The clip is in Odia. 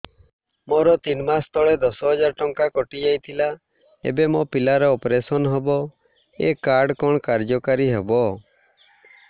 ମୋର ତିନି ମାସ ତଳେ ଦଶ ହଜାର ଟଙ୍କା କଟି ଯାଇଥିଲା ଏବେ ମୋ ପିଲା ର ଅପେରସନ ହବ ଏ କାର୍ଡ କଣ କାର୍ଯ୍ୟ କାରି ହବ